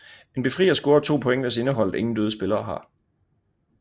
En befrier scorer 2 point hvis indeholdet ingen døde spillere har